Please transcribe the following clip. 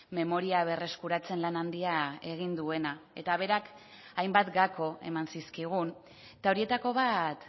memoria berreskuratzen lan handia egin duena eta berak hainbat gako eman zizkigun eta horietako bat